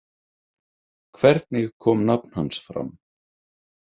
Hvernig kom nafn hans fram?